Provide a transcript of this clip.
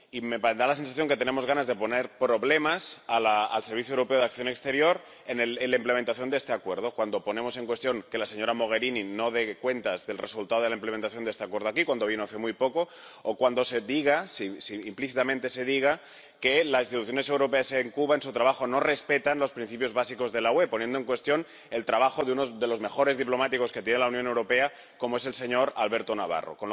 Me da la sensación de que tenemos ganas de crear problemas al Servicio Europeo de Acción Exterior en la implementación de este Acuerdo, cuando cuestionamos que la señora Mogherini no rinda cuentas del resultado de la implementación de este Acuerdo aquí —cuando vino hace muy poco— o cuando implícitamente se dice que las instituciones europeas en Cuba, en su trabajo, no respetan los principios básicos de la UE, poniendo en cuestión el trabajo de uno de los mejores diplomáticos que tiene la Unión Europea, como es el señor Alberto Navarro.